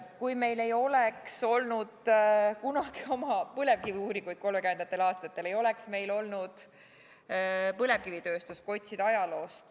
Kui meil ei oleks kunagi, 1930. aastatel olnud oma põlevkiviuuringuid, ei oleks meil olnud põlevkivitööstust – otsides näiteid ajaloost.